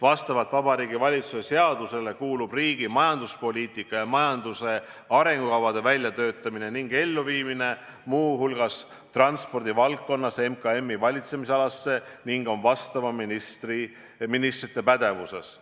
Vastavalt Vabariigi Valitsuse seadusele kuulub riigi majanduspoliitika ja majanduse arengukavade väljatöötamine ning elluviimine – muu hulgas transpordivaldkonnas – MKM-i valitsemisalasse ning on vastavate ministrite pädevuses.